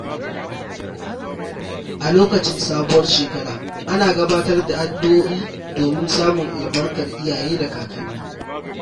A lokacin sabuwar shekara, ana gabatar da addu’o’i don samun albarkar iyaye da kakanni.